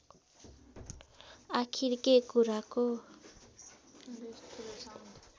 आखिर के कुराको